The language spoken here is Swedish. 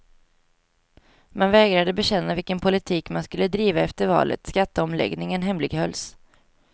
Man vägrade bekänna vilken politik man skulle driva efter valet, skatteomläggningen hemlighölls.